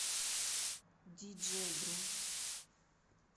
диджей грув